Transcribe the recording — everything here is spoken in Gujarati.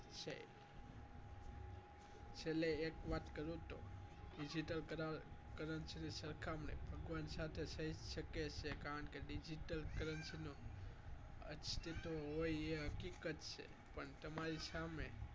છેલ્લે એક વાત કરું digital currency સરખામણી ભગવાન સાથે થઈ શકે છે કારણ કે digital currency નો અસ્તિત્વ હોય એ હકીકત છે પણ તમારી સામે